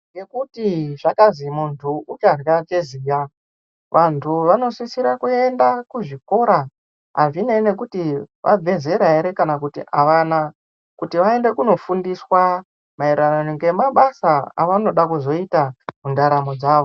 Ngekuti zvakazwi muntu ucharye cheziya vantu vanosisira kuende kuzvikora azvinei nekuti vabva zera ere kana kuti avana kuti vaende kunofundiswa mairirano ngama basa avanode kuzoita mundaramu dzavo.